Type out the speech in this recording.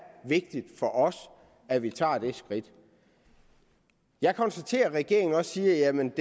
vigtigt for os at vi tager det skridt jeg konstaterer at regeringen også siger at man